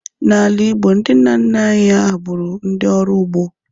N'ala Igbo, ndị nna nna anyị ha bụrụ ndị ọrụ ugbo